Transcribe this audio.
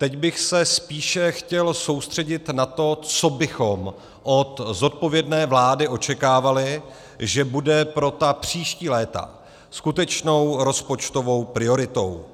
Teď bych se spíše chtěl soustředit na to, co bychom od zodpovědné vlády očekávali, že bude pro ta příští léta skutečnou rozpočtovou prioritou.